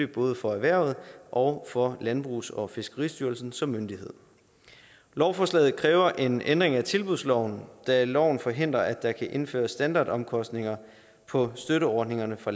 både for erhvervet og for landbrugs og fiskeristyrelsen som myndighed lovforslaget kræver en ændring af tilbudsloven da loven forhindrer at der kan indføres standardomkostninger på støtteordningerne fra